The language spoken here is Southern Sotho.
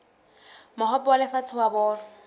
mohope wa lefatshe wa bolo